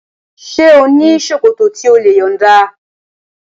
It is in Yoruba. Ṣé ò ní ṣòkòtò tí o lè yọ̀nda?